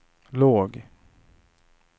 låg